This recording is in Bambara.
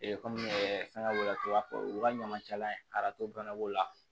kɔmi fɛngɛ cogoya u ka ɲamacɛla arato bana b'o la